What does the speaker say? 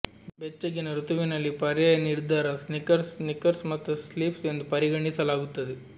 ಬೆಚ್ಚಗಿನ ಋತುವಿನಲ್ಲಿ ಪರ್ಯಾಯ ನಿರ್ಧಾರ ಸ್ನೀಕರ್ಸ್ ಸ್ನೀಕರ್ಸ್ ಮತ್ತು ಸ್ಲಿಪ್ಸ್ ಎಂದು ಪರಿಗಣಿಸಲಾಗುತ್ತದೆ